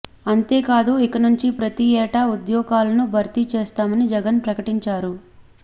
అంతేకాదు ఇక నుంచి ప్రతి ఏటా ఉద్యోగాలను భర్తీ చేస్తామని జగన్ ప్రకటించారు